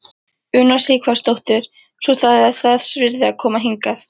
Una Sighvatsdóttir: Svo það er þess virði að koma hingað?